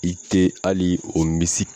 I te ali o misi